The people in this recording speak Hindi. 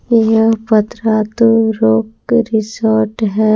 यह पतरातु लोक रिसोर्ट है।